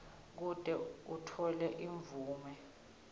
kute utfole imvume